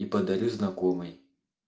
и подарю знакомой